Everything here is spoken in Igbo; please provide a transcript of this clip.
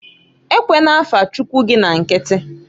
Ewena afa Chuckwu gị na nkiti!